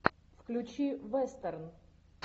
включи вестерн